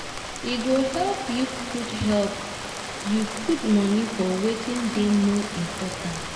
e go help yu put help yu put moni for wetin dey more important